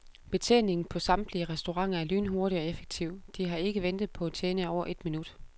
Betjeningen på samtlige restauranter er lynhurtig og effektiv, de har ikke ventet på en tjener i over et minut.